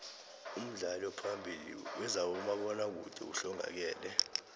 umdlali ophambili wezabomabona kude uhlongakele